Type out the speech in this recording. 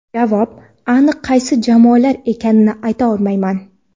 Javob: Aniq qaysi jamoalar ekanini ayta olmayman.